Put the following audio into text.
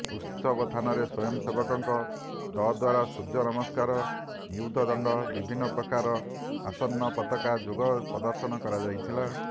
ଉତ୍ସବ ସ୍ଥାନରେ ସ୍ୱୟଂସେବମାନଙ୍କ ଦଦ୍ୱାରାସୂୂୂର୍ଯ୍ୟ ନମସ୍କାର ନିୟୁଦ୍ଧ ଦଣ୍ଡ ବିଭିନ୍ନ ପ୍ରକାର ଆସନ୍ନ ପତାକା ଯୋଗ ପଦର୍ଶନ କରାଯାଇଥିଲା